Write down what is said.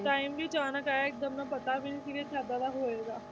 Time ਵੀ ਅਚਾਨਕ ਆਇਆ ਇੱਕਦਮ ਨਾ ਪਤਾ ਵੀ ਨੀ ਸੀ ਕੁਛ ਏਦਾਂ ਦਾ ਹੋਏਗਾ